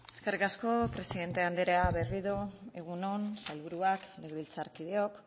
eskerrik asko presidente andrea berriro egun on sailburuak legebiltzarkideok